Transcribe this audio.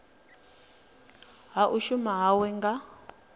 ha u shuma hawe nga